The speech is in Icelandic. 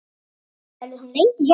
Verður hún lengi hjá þér?